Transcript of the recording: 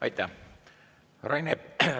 Aitäh!